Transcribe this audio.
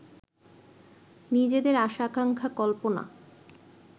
নিজেদের আশা-আকাঙ্ক্ষা কল্পনা